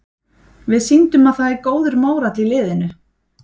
Við sýndum að það er góður mórall í liðinu.